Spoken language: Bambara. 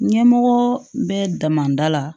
Ɲɛmɔgɔ bɛ damada la